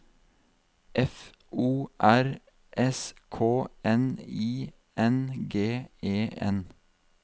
F O R S K N I N G E N